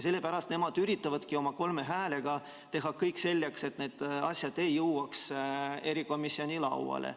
Sellepärast nad üritavadki oma kolme häälega teha kõik selleks, et need asjad ei jõuaks erikomisjoni lauale.